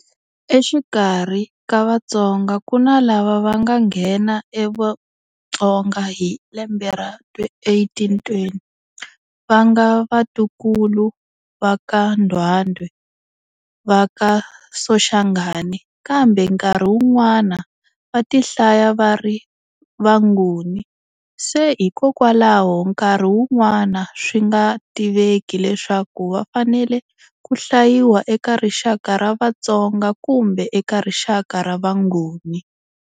Exikarhi ka Vatsonga ku na lava va nga nghena eVutsonga hi lembe ra 1820, va nga vatukulu va ka Ndwandwe, va ka Soshangane, kambe nkarhi wun'wana va ti hlaya va ri Vanguni se hikokwalaho nkarhi wun'wana swi nga tiveki leswaku va fanele ku hlayiwa eka rixaka ra Vatsonga kumbe eka rixaka ra Vanguni.